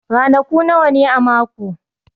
Ranaku nawa ne a mako?